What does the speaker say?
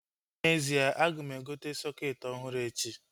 N'ezie, aga m azụta sọketi ọhụrụ echi